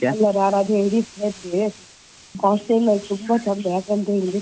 ಅದೇ ನಾನು ಎಣಿಸ್ತಾ ಇದ್ದೆ hostel ಅಲ್ಲಿ ತುಂಬಾ ಚಂದ ಯಾಕಂತೆಳಿದ್ರೆ